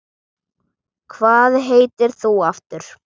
Hvað heitir þú aftur?